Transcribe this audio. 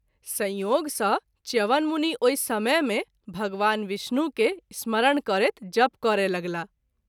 संयोग सँ च्यवन मुनि ओहि समय मे भगवान विष्णु के स्मरण करैत जप करय लगलाह।